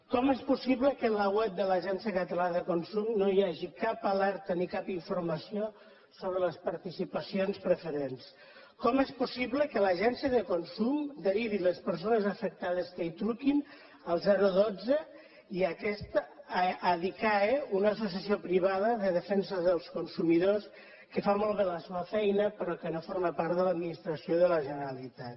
com és possible que en la web de l’agència catalana de consum no hi hagi cap alerta ni cap informació sobre les participacions preferents com és possible que l’agència de consum derivi les persones afectades que hi truquen al dotze i aquest a adicae una associació privada de defensa dels consumidors que fa molt bé la seua feina però que no forma part de l’administració de la generalitat